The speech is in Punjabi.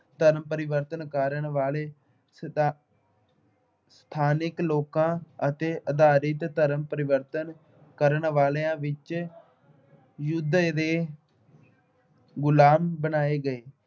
ਧਰਮ ਪਰਿਵਰਤਨ ਕਰਨ ਵਾਲੇ ਸਥਾ ਅਹ ਸਥਾਨਕ ਲੋਕਾਂ ਅਤੇ ਆਧਾਰਿਤ ਧਰਮ ਪਰਿਵਰਤਨ ਕਰਨ ਵਾਲਿਆਂ ਵਿੱਚ ਦੇ ਗੁਲਾਮ ਬਣਾਏ ਗਏ।